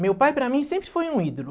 Meu pai para mim sempre foi um ídolo.